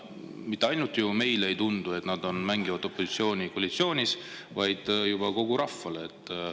Mitte ainult meile ei tundu, et nad mängivad koalitsioonis opositsiooni, vaid juba kogu rahvale.